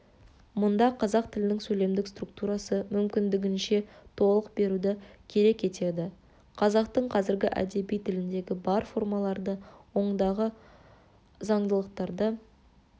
мұнда қазақ тілінің сөйлемдік структурасы мүмкіндігінше толық беруді керек етеді қазақтың қазіргі әдеби тіліндегі бар формаларды ондағы заңдылықтарды